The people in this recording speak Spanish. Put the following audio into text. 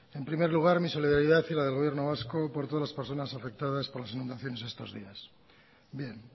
en primer lugar mi solidaridad y la del gobierno vasco por todas las personas afectadas por las inundaciones estos días bien